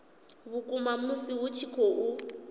vhukuma musi hu tshi khou